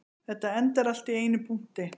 Þetta endar allt í einum punkti